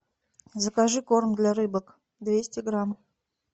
закажи корм для рыбок двести грамм